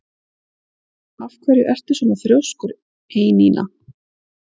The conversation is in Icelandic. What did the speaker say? Af hverju ertu svona þrjóskur, Einína?